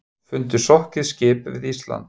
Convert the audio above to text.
Fundu sokkið skip við Ísland